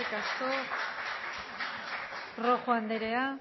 asko rojo andrea